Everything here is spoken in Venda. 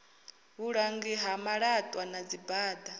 vhulangi ha malatwa na dzibada